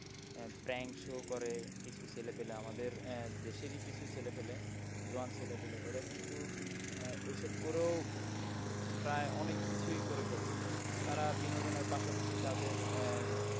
আহ prank show করে কিছু ছেলে পেলে আমাদের আহ দেশেরই কিছু ছেলে পেলে জোয়ান ছেলে পেলে ওরা কিন্তু আহ এইসব করেও প্রায় অনেক কিছুই করে ফেলছে তারা বিনোদনের পাশাপাশি তাদের আহ